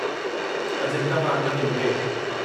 Ajanta pharma limited